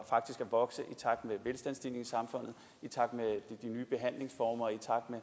faktisk at vokse i takt med velstandsstigningen i samfundet i takt med nye behandlingsformer